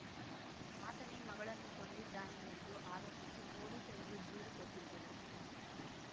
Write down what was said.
ಆತನೇ ಮಗಳನ್ನು ಕೊಂದಿದ್ದಾನೆ ಎಂದು ಆರೋಪಿಸಿ ಪೊಲೀಸರಿಗೆ ದೂರು ಕೊಟ್ಟಿದ್ದರು